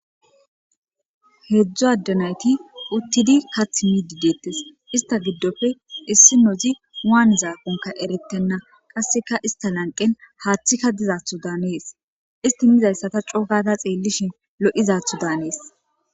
Heedzdzo addanayti uttidi kath midi deettes ista giddofe issi nozi waan zaakonka erettenna qasseka ista lanqen haaththika dizaatho daanees isti mizayssata cogata xeellishin lo'izatho daanees.